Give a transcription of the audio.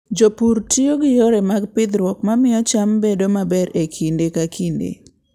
Jopur tiyo gi yore mag pidhruok ma miyo cham bedo maber e kinde ka kinde.